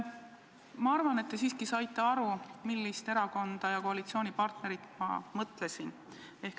Ma arvan, et te siiski saite aru, mis erakonda ja koalitsioonipartnerit ma mõtlesin.